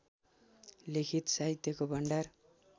लिखित साहित्यको भण्डार